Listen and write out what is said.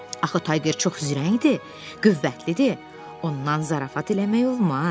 Axı Tayger çox zirəkdir, qüvvətlidir, ondan zarafat eləmək olmaz.